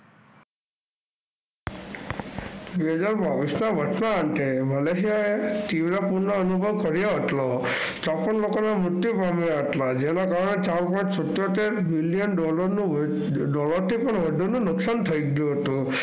બે હજાર વર્ષના અંતે Malesia એ તીવ્ર પુરનો અનુભવ કર્યો હતો. ચોપ્પન લોકોના મૃત્યુ પામ્યા હતા. જેમાં ઘણા ચાર પાંચ સિતોતેર મિલિયન ડોલરનું ડોલલરથી પણ વધુનું નુકસાન થાઓ ગયું હતું.